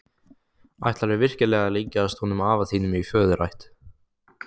Ætlarðu virkilega að líkjast honum afa þínum í föðurætt?